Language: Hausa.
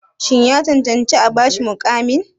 Shin ya cancanci a ba shi muƙamin?